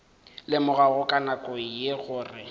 lemogago ka nako ye gore